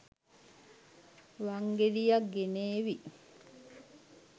වංගෙඩියක් ගෙනේවි